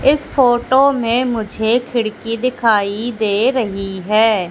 इस फोटो में मुझे खिड़की दिखाई दे रही है।